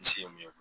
N se ye mun ye